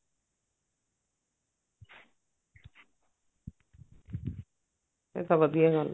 ਇਹ ਤਾਂ ਵਧੀਆ ਗੱਲ ਐ